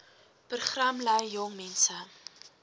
program lei jongmense